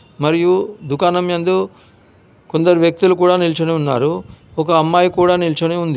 మరియు దుకాణం యందు కొందరు వ్యక్తులు కూడా నిల్చొని ఉన్నారు. ఒక అమ్మాయి కూడా నిల్చొని ఉంది.